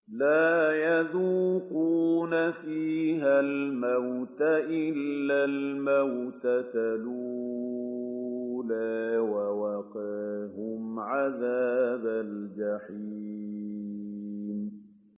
لَا يَذُوقُونَ فِيهَا الْمَوْتَ إِلَّا الْمَوْتَةَ الْأُولَىٰ ۖ وَوَقَاهُمْ عَذَابَ الْجَحِيمِ